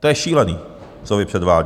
To je šílený, co vy předvádíte!